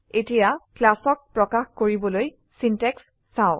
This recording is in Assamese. এতিয়া ক্লাচক প্ৰকাশ কৰিবলৈ সিনট্যাক্স চাও